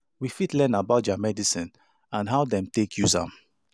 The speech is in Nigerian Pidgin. We fit learn about their medicine and how dem take use am